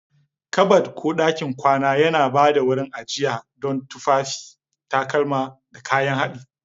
Kabad ko ɗakin kwana yana ba da wurin ajiya don tufafi, takalma, da kayan haɗi.